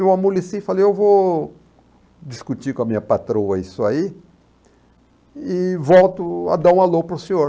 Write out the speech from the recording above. Eu amoleci e falei, eu vou discutir com a minha patroa isso aí e volto a dar um alô para o senhor.